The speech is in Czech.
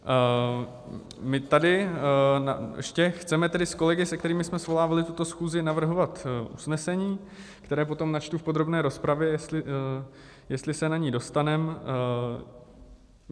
My tady ještě chceme tedy s kolegy, se kterými jsme svolávali tuto schůzi, navrhovat usnesení, které potom načtu v podrobné rozpravě, jestli se na ni dostaneme.